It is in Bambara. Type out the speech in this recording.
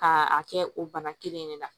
K'a a kɛ o bana kelen in de la